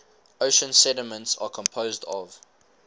ocean sediments are composed of